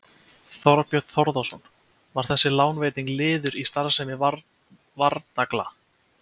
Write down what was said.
Þorbjörn Þórðarson: Var þessi lánveiting liður í starfsemi Varnagla?